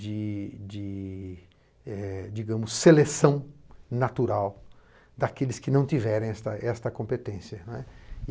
de, de, é digamos seleção natural daqueles que não tiverem essa competência.